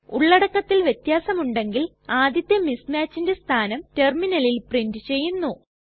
ഉള്ളടക്കത്തിൽ വ്യത്യാസമുണ്ടെങ്കിൽ ആദ്യത്തെ mismatchന്റെ സ്ഥാനം ടെർമിനലിൽ പ്രിന്റ് ചെയ്യുന്നു